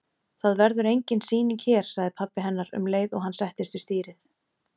Það verður engin sýning hér- sagði pabbi hennar um leið og hann settist við stýrið.